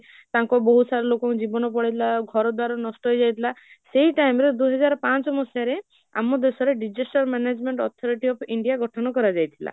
ତାଙ୍କ ବହୁତ ସାରା ଲୋକ ମାନଙ୍କ ଜୀବନ ପଳେଇଥିଲା, ଘର ଦୁଆର ନଷ୍ଟ ହେଇଯାଇଥିଲା, ସେଇ time ରେ ଦୁଇହଜାର ପାଞ୍ଚ ମସିହା ରେ ଆମ ଦେଶରେ disaster management authority of India ଗଠନ କରା ଯାଇଥିଲା